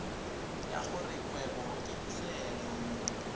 ya gore kgwebo ke tirelo